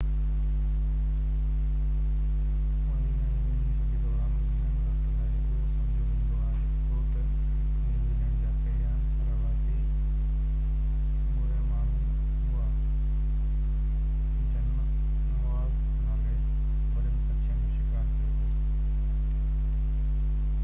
اڻويهين ۽ ويهين صدي دوران گهڻي وقت لاءِ اهو سمجهيو ويندو هو ته نيوزيلينڊ جا پهريان رهواسي موري ماڻهو هئا جن موآز نالي وڏن پکين جو شڪار ڪيو هو